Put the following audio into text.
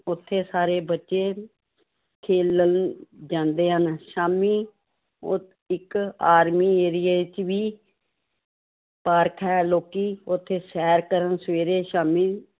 ਉੱਥੇ ਸਾਰੇ ਬੱਚੇ ਖੇਲਣ ਜਾਂਦੇ ਹਨ, ਸ਼ਾਮੀ ਉਹ ਇੱਕ army ਏਰੀਏ ਵਿੱਚ ਵੀ ਪਾਰਕ ਹੈ ਲੋਕੀ ਉੱਥੇ ਸ਼ੈਰ ਕਰਨ ਸਵੇਰੇ ਸ਼ਾਮੀ